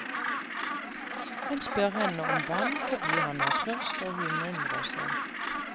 Han spør henne om vann, fordi han er tørst, og hun undrer seg.